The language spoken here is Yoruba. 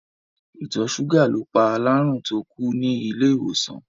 Ìtọ̀ ṣúgà ló pa alárùn tó kú ní ilé-ìwòsàn.